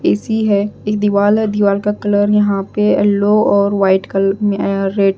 AC है एक दीवाल है दीवाल का कलर यहां पे येलो और वाइट कलर में रेड --